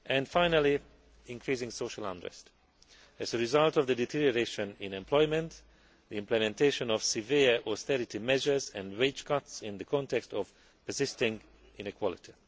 Finally, there is increasing social unrest as a result of the deterioration in employment, the implementation of severe austerity measures and wage cuts in the context of persisting inequality.